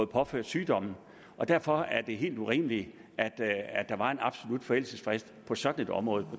påført sygdommen og derfor er det helt urimeligt at der var en absolut forældelsesfrist på sådan et område